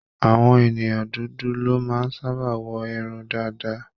Àwọn ènìyàn dúdú ló máa ń sábà wọ irun dàda.